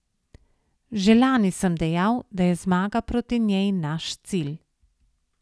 Že lani sem dejal, da je zmaga proti njej naš cilj.